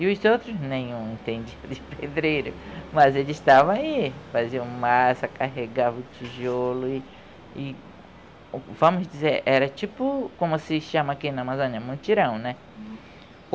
E os outros, nenhum entendia de pedreiro, mas eles estavam aí, faziam massa, carregavam tijolo e, e, vamos dizer, era tipo, como se chama aqui na Amazônia, mutirão, né?